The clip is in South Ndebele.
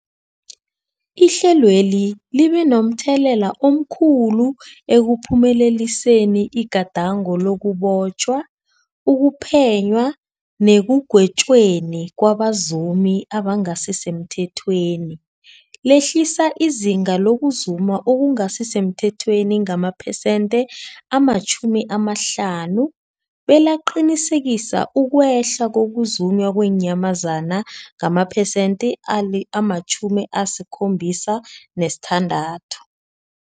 Ihlelweli libe momthelela omkhulu ekuphumeleliseni igadango lokubotjhwa, ukuphenywa nekugwetjweni kwabazumi abangasisemthethweni, lehlisa izinga lokuzuma okungasi semthethweni ngamaphesenthe-50, belaqinisekisa ukwehla kokuzunywa kweenyamazana ngamaphesenthe-76.